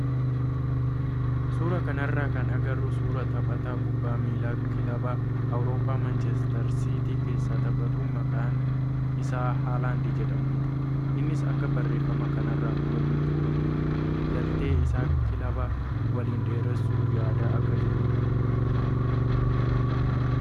Suuraa kanarraa kan agarru suuraa taphataa kubbaa miilaa kilaba wuroppaa maanchestarsiitii keessa taphatu maqaan isaa Haalaand jedhamudha. Innis akka barreeffama kanarraa hubannutti walii galtii isaa kilaba waliin dheeressuu yaadaa akka jirudha.